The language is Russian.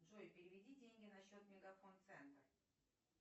джой переведи деньги на счет мегафон центр